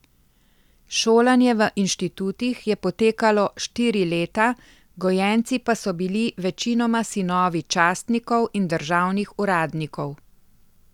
Šolanje v inštitutih je potekalo štiri leta, gojenci pa so bili večinoma sinovi častnikov in državnih uradnikov.